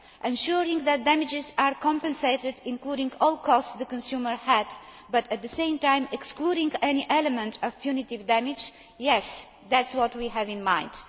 Ensuring that damages are compensated, including all costs incurred by the consumer but, at the same time, excluding any element of punitive damage yes, that is what we have in mind.